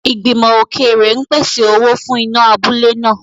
Ìgbìmọ̀ òkèèrè ń pèsè owó fún iná abúlé náà.